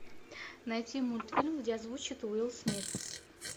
найти мультфильм где озвучивает уилл смит